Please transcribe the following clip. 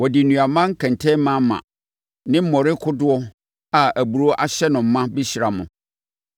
Wɔde nnuaba nkɛntɛn ma ma, ne mmɔre kodoɔ a burodo ahyɛ so ma bɛhyira mo.